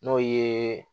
N'o ye